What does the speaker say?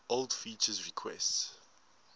old feature requests